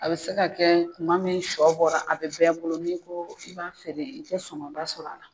A be se ka kɛ kuma min sɔ bɔra, a be bɛɛ bolo n'i ko i b'a feere i tɛ sɔngɔ ba sɔrɔ a la.